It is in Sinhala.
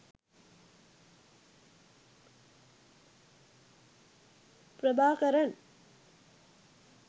prabakaran